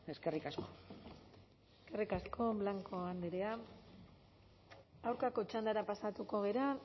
eskerrik asko eskerrik asko blanco andrea aurkako txandara pasatuko gara